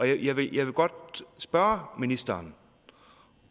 jeg vil jeg vil godt spørge ministeren